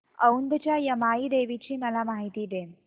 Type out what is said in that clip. औंधच्या यमाई देवीची मला माहिती दे